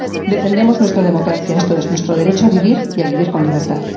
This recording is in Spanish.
Defendemos nuestra democracia, esto es, nuestro derecho a vivir y a vivir con libertad.